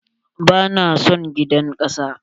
Ba na son gidan kasa.